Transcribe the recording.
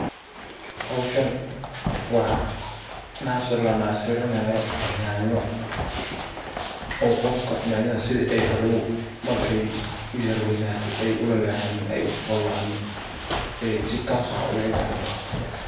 Howshan waa nasir lanasirinayo yanyo oo qofka si ay hadow yanyada yara weynato ay u lalehanin ay u qalocanin ay si toos ah ugu bahdo.